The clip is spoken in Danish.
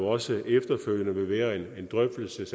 også efterfølgende vil være en drøftelse